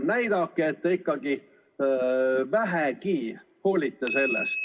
Näidake, et te sellest vähegi hoolite.